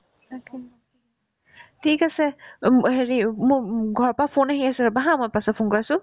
ঠিক আছে উম হেৰি ওব মো মো ঘৰৰ পাই ফোন আহি আছে ৰ'বা haa মই পাছত ফোন কৰি আছো